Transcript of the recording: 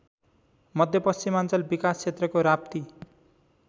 मध्यपश्चिमाञ्चल विकासक्षेत्रको राप्ती